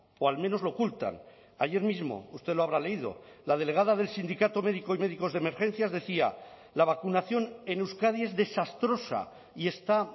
o al menos lo ocultan ayer mismo usted lo habrá leído la delegada del sindicato médico y médicos de emergencias decía la vacunación en euskadi es desastrosa y está